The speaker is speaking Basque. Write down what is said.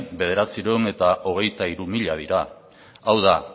bederatziehun eta hogeita hiru mila dira hau da